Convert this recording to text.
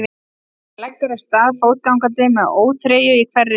Hann leggur af stað fótgangandi með óþreyju í hverri taug.